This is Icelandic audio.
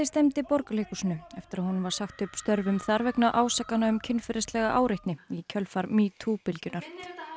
stefndi Borgarleikhúsinu eftir að honum var sagt upp störfum þar vegna ásakana um kynferðislega áreitni í kjölfar metoo bylgjunnar